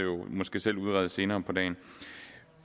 måske selv udrede senere på dagen